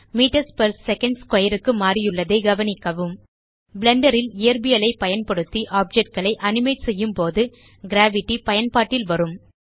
metres per second square க்கு மாறியுள்ளதை கவனிக்கவும் பிளெண்டர் ல் இயற்பியலைப் பயன்படுத்தி ஆப்ஜெக்ட் களை அனிமேட் செய்யும்போது கிரேவிட்டி பயன்பாட்டில் வரும்